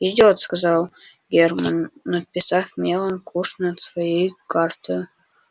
идёт сказал германн надписав мелом куш над своей картою